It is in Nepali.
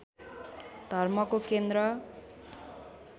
धर्मको केन्द्र